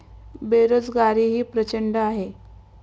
बेरोजगारीही प्रचंड आहे.